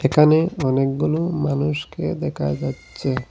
এখানে অনেকগুলো মানুষকে দেকা যাচ্ছে।